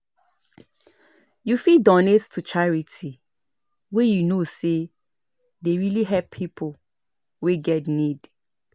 You fit donate to charity wey you know sey dey really help pipo wey get need